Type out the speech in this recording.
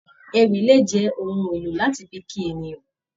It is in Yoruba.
Ewì lè jẹ ohùn èlò láti fí kí ènìyàn.